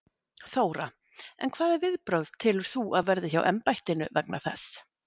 Þóra: En hvaða viðbrögð telur þú að verði hjá embættinu vegna þess?